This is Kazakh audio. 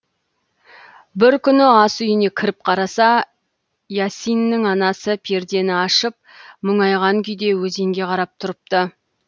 бір күні ас үйіне кіріп қараса иасиннің анасы пердені ашып мұңайған күйде өзенге қарап тұрыпты